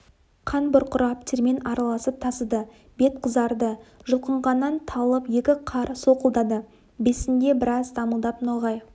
қан бұрқырап термен араласып тасыды бет қызарды жұлқынғаннан талып екі қар солқылдады бесінде біраз дамылдап ноғай